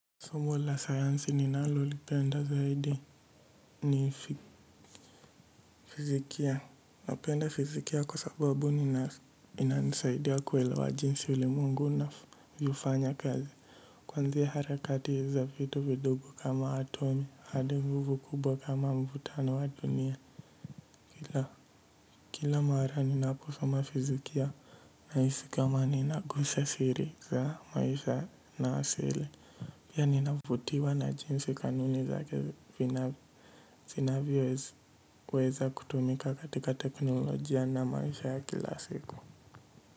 Somo la sayansi ninalo lipenda zaidi ni fizikia. Napenda fizikia kwa sababu ina nisaidia kuelewa jinsi ulimwengu unavyofanya kazi. Kwanzia harakati za vitu vidogo kama atomi hadi nguvu kubwa kama mvutano wa dunia. Ila kila mara ninapo soma fizikia nahisi kama nina gusa siri za maisha na asili pia ninavutiwa na jinsi kanuni za zinavyo weza kutumika katika teknolojia na maisha ya kila siku.